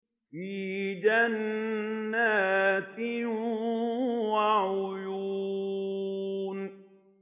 فِي جَنَّاتٍ وَعُيُونٍ